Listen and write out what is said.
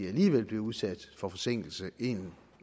alligevel bliver udsat for forsinkelser en